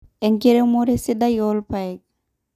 Enkiremore sidai oorpaek